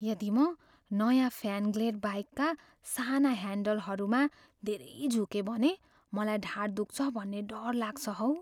यदि म नयाँ फ्यान्ग्लेड बाइकका साना ह्यान्डलबारहरूमा धेरै झुकेँ भने मलाई ढाड दुख्छ भन्ने डर लाग्छ हौ।